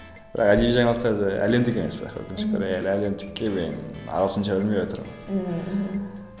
бірақ әдеби жаңалықтарды әлемдік емес бірақ өкінішке орай әлі әлемдікке мен ағылшынша білмейатырмын ммм мхм